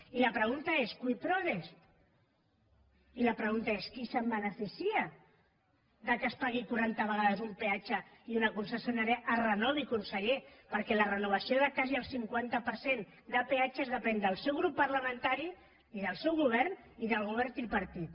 i la pregunta és cui prodest i la pregunta és qui se’n beneficia que es pagui quaranta vegades un peatge i una concessionària es renovi conseller perquè la renovació de quasi el cinquanta per cent de peatges depèn del seu grup parlamentari i del seu govern i del govern tripartit